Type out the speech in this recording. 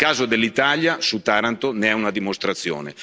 Il caso dell'Italia su Taranto ne è una dimostrazione.